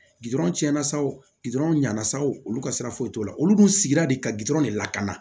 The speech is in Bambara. tiɲɛna sa o ɲani sɔ olu ka sira foyi t'o la olu dun sigira de ka gutɔrɔn de lakana